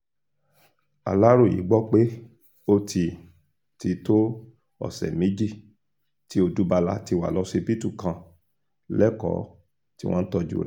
aláròye gbọ́ pé ó ti ti tó ọ̀sẹ̀ méjì tí odúbala ti wà lọ́sibítù kan lẹ́kọ̀ọ́ tí wọ́n ń tọ́jú rẹ̀